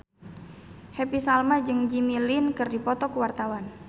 Happy Salma jeung Jimmy Lin keur dipoto ku wartawan